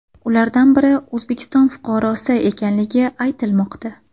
Ulardan biri O‘zbekiston fuqarosi ekanligi aytilmoqda .